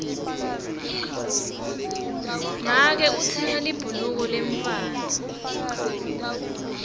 make utsenge libhuluka lemntfwana